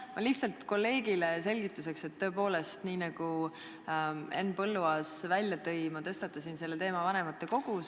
Ma ütlen lihtsalt kolleegile selgituseks, et tõepoolest, nagu Henn Põlluaas välja tõi, ma tõstatasin selle teema vanematekogus ...